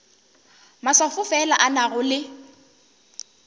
maswafo fela a nago le